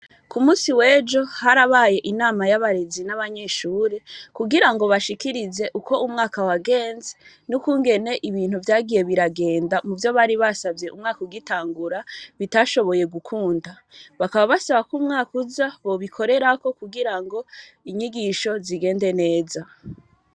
Ku musi w'ejo harabaye inama y'abarezi n'abanyeshure kugira bashikirize uko umwaka wagenze n'ukungene ibintu vyagiye biragenda mu vyo bari basavye umwaka ugitangura bitashoboye gukunda. Bakaba basaba k'umwaka uza bobikorerako kugira inyigisho zigende neza.